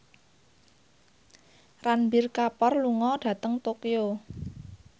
Ranbir Kapoor lunga dhateng Tokyo